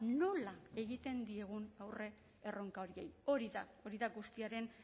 nola egiten diegun aurre erronka horiei hori da hori da guztiaren